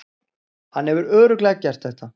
Hann hefur örugglega gert þetta.